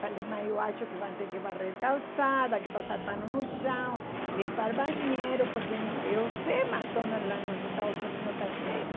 Falei, mas eu acho que vão ter que varrer calçada, que passar pano no chão, limpar banheiro, porque eu sei que o McDonald's lá nos Estados Unidos está cheio.